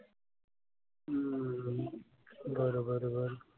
हम्म बर. बर. बर.